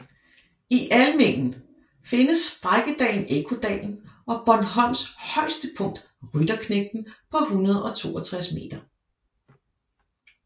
I Almindingen findes sprækkedalen Ekkodalen og Bornholms højeste punkt Rytterknægten på 162 m